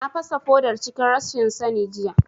Na fasa fodar cikin rashin sani jiya